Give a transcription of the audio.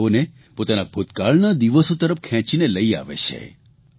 અને તેઓને પોતાના ભૂતકાળના દિવસો તરફ ખેંચીને લઇ આવે છે